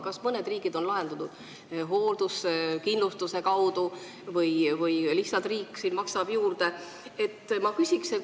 Kas mõned riigid on lahendanud selle probleemi hoolduskindlustuse kaudu või lihtsalt riik maksab juurde?